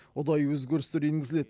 ұдайы өзгерістер енгізіледі